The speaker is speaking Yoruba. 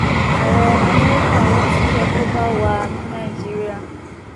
ààrẹ amẹríkà wọn tún fẹẹ kó bá wa ní nàìjíríà